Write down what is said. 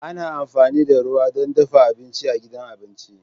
Ana amfani da ruwa don dafa abinci a gidan abinci.